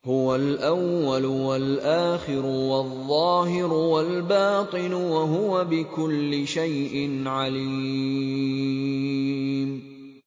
هُوَ الْأَوَّلُ وَالْآخِرُ وَالظَّاهِرُ وَالْبَاطِنُ ۖ وَهُوَ بِكُلِّ شَيْءٍ عَلِيمٌ